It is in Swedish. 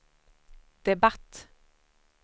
debatt